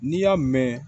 N'i y'a mɛn